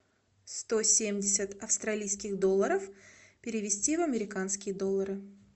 сто семьдесят австралийских долларов перевести в американские доллары